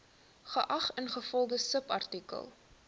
geag ingevolge subartikel